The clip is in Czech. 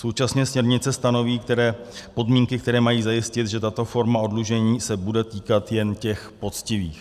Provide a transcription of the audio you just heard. Současně směrnice stanoví podmínky, které mají zajistit, že tato forma oddlužení se bude týkat jen těch poctivých.